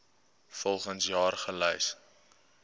volgens jaar gelys